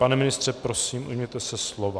Pane ministře, prosím, ujměte se slova.